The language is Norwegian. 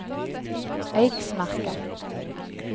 Eiksmarka